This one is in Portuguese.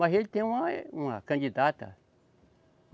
Mas ele tem uma, eh, uma candidata.